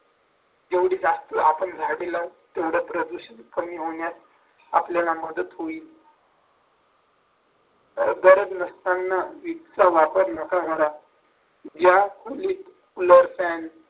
जेवढे जास्त आपण झाडे लावून तेवढ्या प्रदूषण कमी होण्यास आपल्याला मदत होईल तर गरज नसताना विजेचा वापर नका करा ज्या खोलीत वर फॅन